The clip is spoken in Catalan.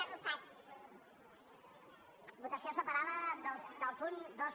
votació separada dels punts dos